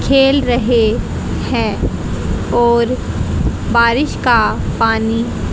खेल रहे हैं और बारिश का पानी--